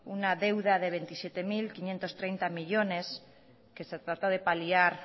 una deuda de veintisiete mil quinientos treinta millónes que se trata de paliar